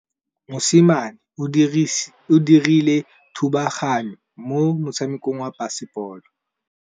Mosimane o dirile thubaganyô mo motshamekong wa basebôlô.